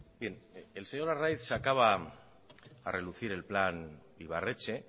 bien el señor arraiz sacaba a relucir el plan ibarretxe